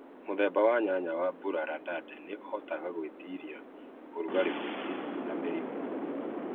Mũthemba wa nyanya wa burorandande nĩ ĩhotaga gwĩtiiria ũrugarĩ mũingi na mĩrimũ.